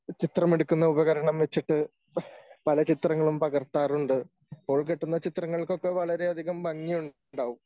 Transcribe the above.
ചിത്രമെടുക്കുന്ന ഉപകരണം വച്ചിട്ട് പല ചിത്രങ്ങളും പകർത്താറുണ്ട് അപ്പോൾ കിട്ടുന്ന ചിത്രങ്ങളൊക്കെ വളരെയധികം ഭംഗിയുണ്ടാവും